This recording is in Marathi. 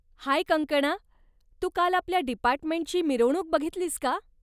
हाय कंकणा! तू काल आपल्या डिपार्टमेंटची मिरवणूक बघितलीस का?